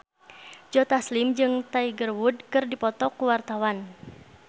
Joe Taslim jeung Tiger Wood keur dipoto ku wartawan